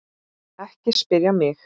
Ekki spyrja mig.